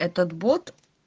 этот бот